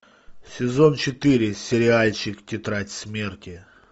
сезон четыре сериальчик тетрадь смерти